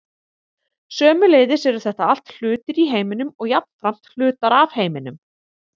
sömuleiðis eru þetta allt hlutir í heiminum og jafnframt hlutar af heiminum